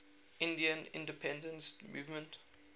indian independence movement